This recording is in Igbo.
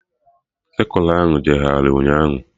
Sekụla ahụ jegharị ụnyaahụ